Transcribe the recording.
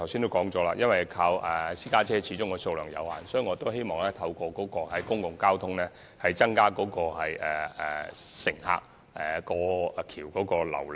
我剛才也說過，私家車的數量始終有限，所以我希望能透過公共交通來增加大橋的旅客流量。